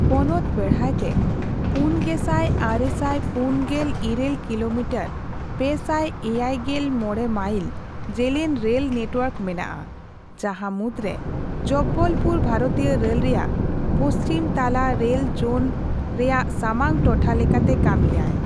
ᱯᱚᱱᱚᱛ ᱵᱮᱲᱦᱟᱭᱛᱮ ᱯᱩᱱᱜᱮᱥᱟᱭ ᱟᱨᱮᱥᱟᱭ ᱯᱩᱱᱜᱮᱞᱤᱨᱟᱹᱞ ᱠᱤᱞᱳᱢᱤᱴᱟᱨ ᱯᱮᱥᱟᱭ ᱮᱭᱟᱭᱜᱮᱞᱢᱚᱲᱮᱢᱟᱭᱤᱞ) ᱡᱮᱹᱞᱮᱹᱧ ᱨᱮᱹᱞ ᱱᱮᱴᱣᱟᱨᱠ ᱢᱮᱱᱟᱜᱼᱟ, ᱡᱟᱦᱟᱸ ᱢᱩᱫᱨᱮ ᱡᱚᱵᱵᱚᱞᱯᱩᱨ ᱵᱷᱟᱨᱚᱛᱤᱭᱚ ᱨᱮᱹᱞ ᱨᱮᱭᱟᱜ ᱯᱚᱪᱷᱤᱢ ᱛᱟᱞᱟ ᱨᱮᱹᱞ ᱡᱳᱱ ᱨᱮᱭᱟᱜ ᱥᱟᱢᱟᱝ ᱴᱚᱴᱷᱟ ᱞᱮᱠᱟᱛᱮ ᱠᱟᱹᱢᱤ ᱟᱭ ᱾